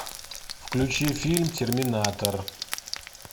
включи фильм терминатор